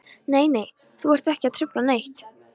Nei, nei, þú ert ekki að trufla neitt.